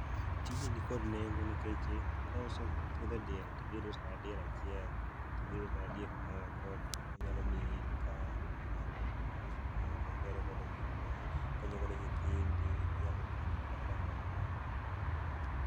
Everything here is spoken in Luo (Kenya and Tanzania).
Tijni nikod nengo nikech kosepidhe diel tidhi iuso kata diel achiel tibiro kata diek moko to onyalo miyi income. Inyalo uso moko igero godo giri moro, ikonyo godo nyithindi, onyalo konyoni kata kamoro